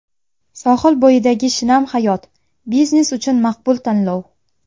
Sohil bo‘yidagi shinam hayot: biznes uchun maqbul tanlov!.